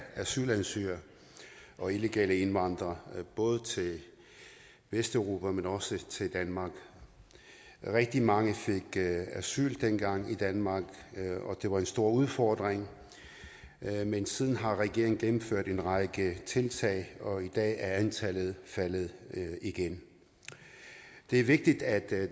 asylansøgere og illegale indvandrere både til vesteuropa men også til danmark rigtig mange fik asyl dengang i danmark og det var en stor udfordring men siden har regeringen gennemført en række tiltag og i dag er antallet faldet igen det er vigtigt at